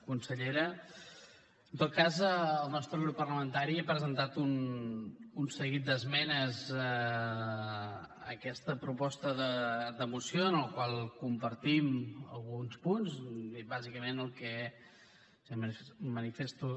consellera en tot cas el nostre grup parlamentari ha presentat un seguit d’esmenes a aquesta proposta de moció en la qual compartim alguns punts bàsicament el que manifesto